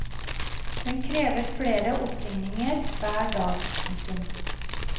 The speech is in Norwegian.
Den krever flere oppringninger hver dag. punktum